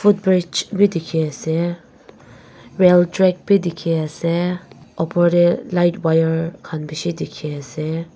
footbridge wi dikhi asey railtrack bi dikhi asey opor deh light wire khan bishi dikhi asey.